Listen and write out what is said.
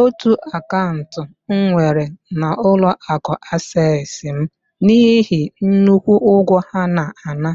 otu akaụntụ m nwere na ụlọ akụ Asess m n'ihi nnukwu ụgwọ ha na-ana